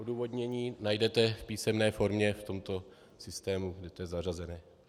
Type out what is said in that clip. Odůvodnění najdete v písemné formě v tomto systému, kde to je zařazené.